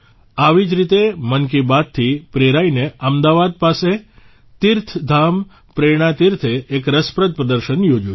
આવી જ રીતે મન કી બાતથી પ્રેરાઇને અમદાવાદ પાસે તીર્થધામ પ્રેરણાતીર્થે એક રસપ્રદ પ્રદર્શન યોજ્યું છે